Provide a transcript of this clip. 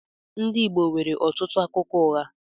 Ndị Igbo nwere ọtụtụ akụkọ ụgha.